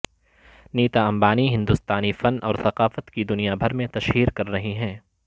نیتا امبانی ہندوستانی فن اور ثقافت کی دنیا بھر میں تشہیر کر رہی ہیں